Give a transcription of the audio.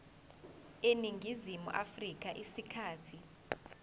eningizimu afrika isikhathi